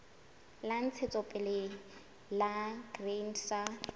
la ntshetsopele la grain sa